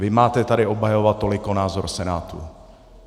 Vy tady máte obhajovat toliko názor Senátu.